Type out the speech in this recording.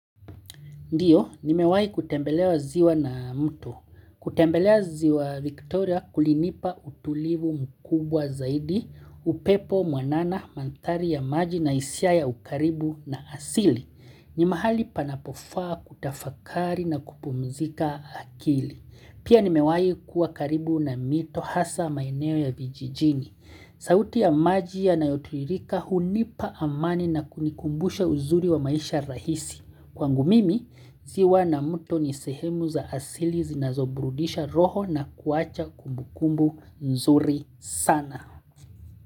Ndio, nimewahi kutembelewa ziwa na mtu. Kutembelea ziwa Victoria kulinipa utulivu mkubwa zaidi, upepo mwanana, mandhari ya maji na isiya ukaribu na asili. Ni mahali panapofaa kutafakari na kupumzika akili. Pia nimewahi kuwa karibu na mito hasa maeneo ya vijijini. Sauti ya maji yanayo tiririka hunipa amani na kunikumbusha uzuri wa maisha rahisi. Kwangu mimi, ziwa na mto ni sehemu za asili zinazoburudisha roho na kuwacha kumbukumbu nzuri sana.